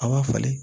A b'a falen